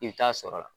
I bɛ taa sɔrɔ la